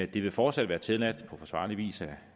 det vil fortsat være tilladt på forsvarlig vis at